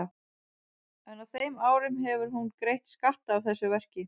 En á þeim árum hefur hún greitt skatta af þessu verki.